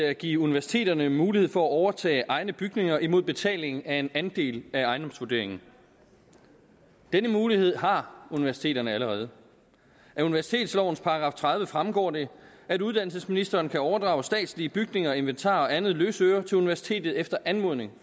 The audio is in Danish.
at give universiteterne mulighed for at overtage egne bygninger imod betaling af en andel af ejendomsvurderingen denne mulighed har universiteterne allerede af universitetslovens § tredive fremgår det at uddannelsesministeren kan overdrage statslige bygninger inventar og andet løsøre til universitetet efter anmodning